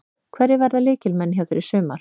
Hverjir verða lykilmenn hjá þér í sumar?